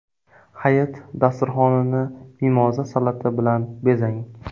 Hayit dasturxonini mimoza salati bilan bezang.